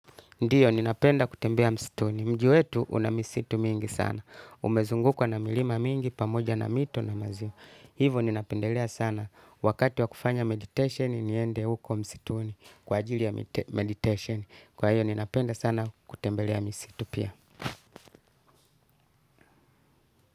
Ndiyo, ninapenda kutembea msituni. Mji wetu una misitu mingi sana. Umezungukwa na milima mingi, pamoja na mito na maziwa. Hivo, ninapendelea sana. Wakati wa kufanya meditation, niende huko msituni. Kwa ajili ya meditation. Kwa hiyo, ninapenda sana kutembelea misitu pia.